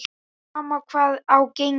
Sama hvað á gengur.